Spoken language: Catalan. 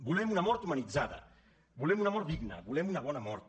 volem una mort humanitzada volem una mort digna volem una bona mort